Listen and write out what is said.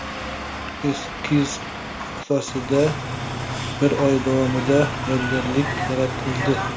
Eskiz asosida bir oy davomida yodgorlik yaratildi.